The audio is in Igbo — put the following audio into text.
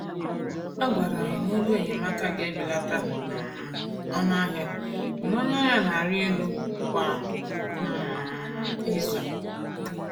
A gwara anyị na-ego enyemaka ga-ebelata um ọnụ ahịa mana ọnụ ahịa na-arị elu kwa um izu.